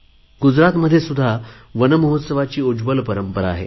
गुजरातमध्येसुध्दा वन महोत्सवाची उज्वल परंपरा आहे